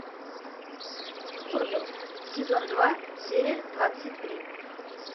орвилл сезон два серия двадцать три